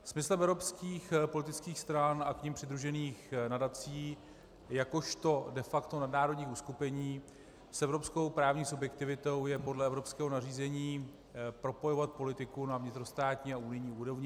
Smyslem evropských politických stran a k nim přidružených nadací jakožto de facto nadnárodní uskupení s evropskou právní subjektivitou je podle evropského nařízení propojovat politiku na vnitrostátní a unijní úrovni.